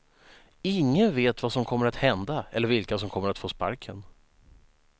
Ingen vet vad som kommer att hända eller vilka som kommer att få sparken.